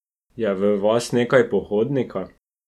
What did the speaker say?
Je v vas nekaj pohodnika?